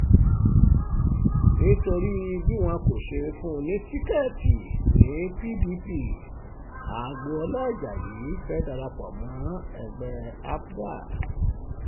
nítorí bí wọn kò ṣe fún un ní tíkẹ́ẹ̀tì ni pdp agboola ajayi fẹ́ẹ́ dara pọ̀ mọ́ ẹgbẹ́ zgp